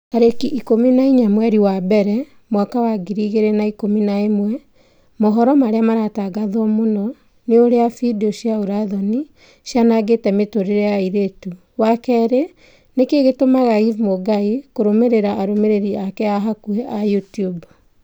tarĩki ikũmi na inya mweri wa mbere mwaka wa ngiri igĩrĩ na ikũmi na ĩmwe mohoro marĩa maratangatwo mũno ni ũrĩa findio cia ũũra-thoni cianangĩte mĩtũrĩre ya airĩtu wa kerĩ nĩkĩĩ gĩtũmaga eve mũngai kũrũmĩrĩra arũmĩrĩri ake a hakuhi a YouTUBE